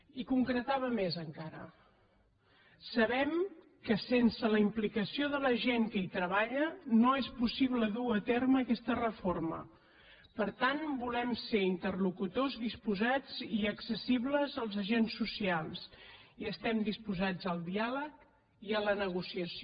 i concretava més encara sabem que sense la implicació de la gent que hi treballa no és possible dur a terme aquesta reforma per tant volem ser interlocutors disposats i accessibles als agents socials i estem disposats al diàleg i a la negociació